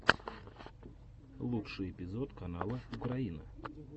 лучший эпизод канала украина